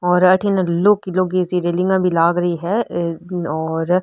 और अठीने लोकी लोकी सी रैलिंगे भी लाग री है और --